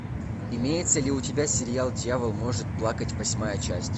имеется ли у тебя сериал дьявол может плакать восьмая часть